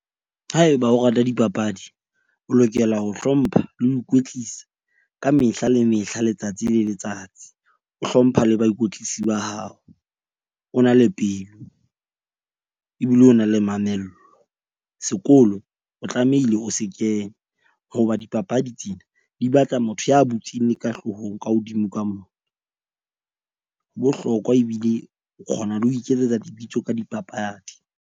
Haeba o rata dipapadi, o lokela ho hlompha le ho ikwetlisa ka mehla le mehla letsatsi le letsatsi. O hlompha le baikwetlisi ba hao, o na le pelo ebile o na le mamello, sekolo o tlamehile o se kene. Hoba dipapadi tsena di batla motho ya butseng le ka hloohong ka hodimo ka mona, ho bohlokwa ebile o kgona le ho iketsetsa lebitso ka dipapadi.